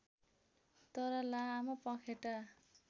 तर लामो पँखेटा